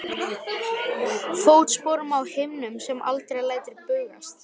Fótsporum á himnum sem aldrei lætur bugast.